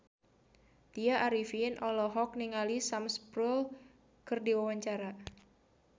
Tya Arifin olohok ningali Sam Spruell keur diwawancara